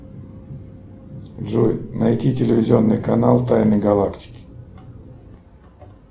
джой найди телевизионный канал тайны галактики